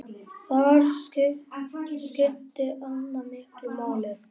Þar skipti Anna miklu máli.